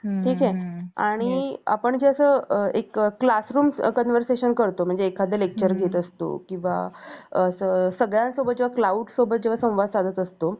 ठीक आहे आणि आपण जे असं classroom conversations करतो म्हणजे एखाद्या lecture घेत असतो किंवा सगळ्यांसोबत जेव्हा क्लाऊड सोबत जेव्हा संवाद साधत असतो